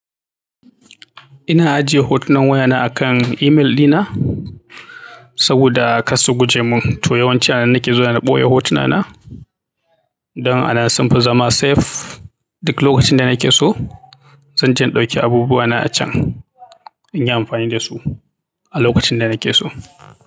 Ina ajiye hotunan wayana akan email ɗina saboda a karsu guje mun. To yawanci anan nake zuwa na ɓoye hotunana don anan sun fi zama safe. Duk lokacin da nake so, zanje in ɗauki abubuwana a can in yi amfani da su a lokacin da nake so.